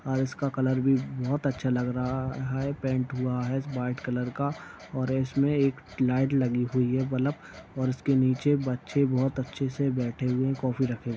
हाँ इसका कलर भी बहुत अच्छा लग रहा हैपेंट हुआ है व्हाइट कलर का और इसमे एक लाइट लगी हुई हैबल्ब और इसके नीचे बच्चे बहुत अच्छे से बैठे हुए हैं कॉफी रखे हुए --